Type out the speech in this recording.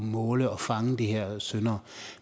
måle og fange de her syndere